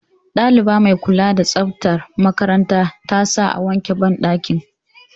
Ɗaliba mai kula da tsaftar makaranta ta sa a wanke banɗaki